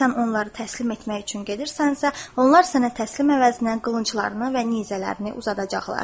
Əgər sən onları təslim etmək üçün gedirsənsə, onlar sənə təslim əvəzinə qılınclarını və nizələrini uzadacaqlar.